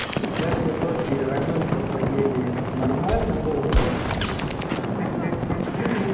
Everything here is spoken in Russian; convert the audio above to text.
как в итоге рамёнта поели этот нормально было-то хи-хи-хи